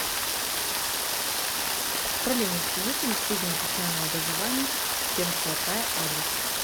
управление общежитиями среднего профессионального образования пермского края адрес